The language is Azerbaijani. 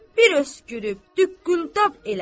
Bir öskürüb duqquldab elədi.